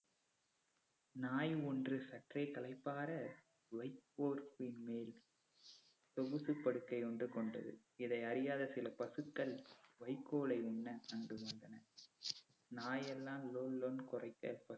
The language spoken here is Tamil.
நாய் ஒன்று சற்றே களைப்பாற வைப்போர் பின்மேல் சொ~ சொகுசு படுக்கை ஒன்று கொண்டது. இதை அறியாத சில பசுக்கள் வைக்கோலை உண்ண அங்கு வந்தன. நாயெல்லாம் லோலோன்னு குறைக்க பசு